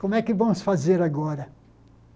Como é que vamos fazer agora?